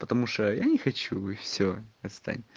потому что я не хочу и всё отстань